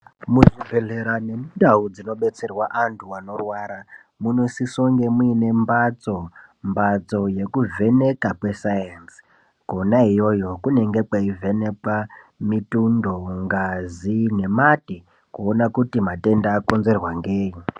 Muzvibhedhlera nemundau dzinotserwa antu anorwara ,munosise kunga muine mbatso, mbatso yekuvheneka kwesainzi, kwona iyoyo kunonga kweivhenekwe mitundo, ngazi nemate kuone kuti matenda akonzerwa ngei.